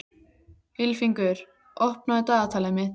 Ylfingur, opnaðu dagatalið mitt.